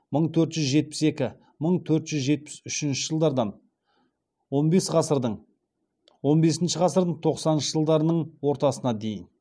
мың төрт жүз жетпіс екі мың төрт жүз жетпіс үшінші жылдардан он бесінші ғасырдың тоқсаныншы жылдарының ортасына дейін